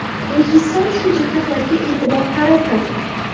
Rejissor shu jihatlarga e’tibor qaratmagan.